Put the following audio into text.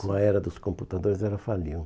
Com a era dos computadores, ela faliu.